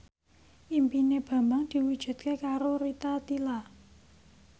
impine Bambang diwujudke karo Rita Tila